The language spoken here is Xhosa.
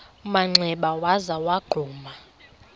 manxeba waza wagquma